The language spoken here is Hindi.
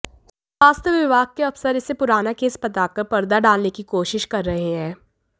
स्वास्थ्य विभाग के अफसर इसे पुराना केस बताकर परदा डालने की कोशिश कर रहे हैं